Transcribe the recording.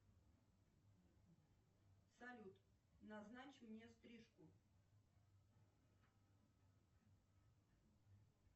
салют назначь мне стрижку